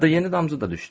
Hətta yeni damcı da düşdü.